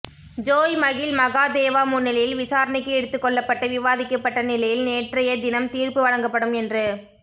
Joy Mahil Mahadeva முன்னிலையில் விசாரணைக்கு எடுத்துக் கொள்ளப்பட்டு விவாதிக்கப்பட்ட நிலையில் நேற்றைய தினம் தீர்ப்பு வழங்கப்படும் என்று